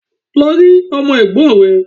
Lọ rí Ọmọ Ègbón rè